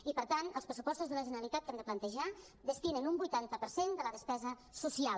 i per tant els pressupostos de la generalitat que hem de plantejar destinen un vuitanta per cent de la despesa social